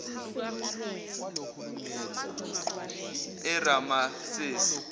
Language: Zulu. eramasesi